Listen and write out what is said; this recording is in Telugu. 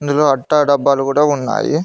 ఇందులో అట్టా డబ్బాలు గూడ ఉన్నాయి.